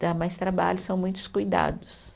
Dá mais trabalho, são muitos cuidados.